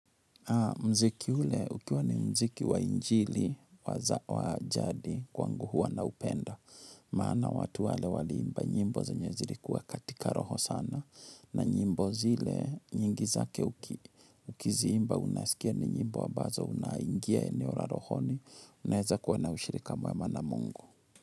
Mziki ule ukiwa ni mziki wa injili wa jadi kwangu huwa naupenda. Maana watu wale waliimba nyimbo zenye zilikuwa katika roho sana. Na nyimbo zile nyingi zake ukiziimba unasikia ni nyimbo ambazo unaingia eneo la rohoni. Unaeza kuwa na ushirika mwema na Mungu.